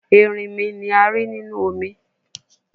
Erinmi ni a ri ninu omi